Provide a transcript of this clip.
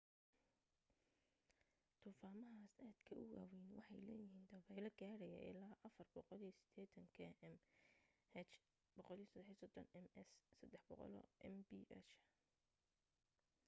duufaamahaas aadka u waawayni waxay leeyihiin dabaylo gaadhaya ilaa 480 km/h 133 m/s; 300mph